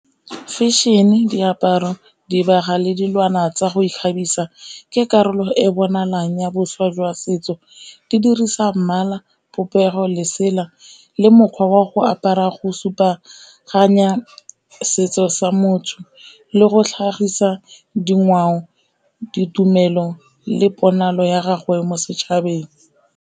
Fashion-e, diaparo, dibaga le dilwana tsa go ikgabisa ke karolo e bonalang ya boswa jwa setso, di dirisa mmala, popego, lesela le mokgwa wa go apara go supaganya setso sa motho le go tlhagisa dingwao, ditumelo le ponalo ya gago ya mo setšhabeng.